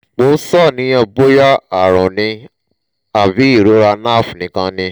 mo ń ṣàníyàn bóyá àrùn ni àbí ìrora nerve nìkan ni?